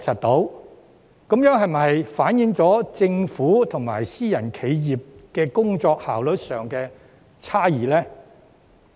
這是否反映政府與私人企業在工作效率上存在差異？